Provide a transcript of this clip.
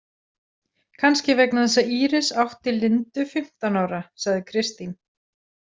Kannski vegna þess að Íris átti Lindu fimmtán ára, sagði Kristín.